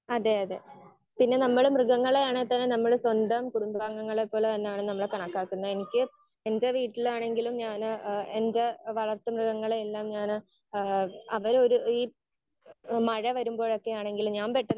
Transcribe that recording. Speaker 1 അതെ അതെ പിന്നെ നമ്മള് മൃഗങ്ങളെ നമ്മള് സ്വന്തം കുടുംബാംഗങ്ങളെ പോലെ തന്നെയാണ് നമ്മൾ കണക്കാക്കുന്നത്. എനിക്ക് എന്റെ വീട്ടിലാണെങ്കിലും ഞാൻ ഏഹ് എന്റെ വളർത്തു മൃഗങ്ങൾ എല്ലാം ഞാൻ ഏഹ് അവര് ഒരു ഈ മഴ വരുമ്പോൾ ഒക്കെ ആണെങ്കിൽ ഞാൻ പെട്ടെന്ന്